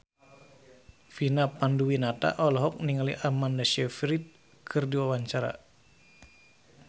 Vina Panduwinata olohok ningali Amanda Sayfried keur diwawancara